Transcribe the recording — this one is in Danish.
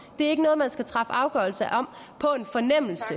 det er ikke noget man skal træffe afgørelse om